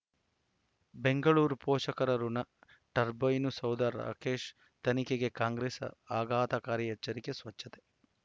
ಬೆಂಗಳೂರು ಪೋಷಕರಋಣ ಟರ್ಬೈನು ಸೌಧ ರಾಕೇಶ್ ತನಿಖೆಗೆ ಕಾಂಗ್ರೆಸ್ ಆಘಾತಕಾರಿ ಎಚ್ಚರಿಕೆ ಸ್ವಚ್ಛತೆ